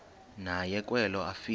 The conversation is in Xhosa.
naye kwelo afika